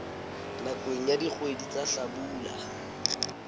nakong ya dikgwedi tsa hlabula